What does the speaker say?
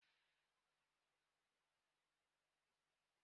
Kedu ụdị ọchịchị dị na Naijiria ugbua?